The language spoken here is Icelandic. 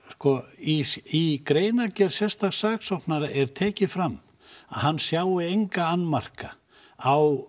í greinargerð sérstaks saksóknara er tekið fram að hann sjái enga annmarka á